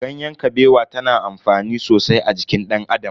Ganyen Kabewa ta na amfani sosai a jikin dan Adam.